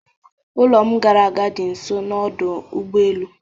Ụlọ m gara aga dị nso n'ọdụ ụgbọ elu